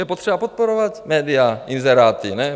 Je potřeba podporovat média, inzeráty, ne?